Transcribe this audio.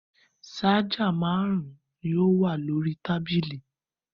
Ṣáájà márùn-ún ni ó wà lórí tábìlì.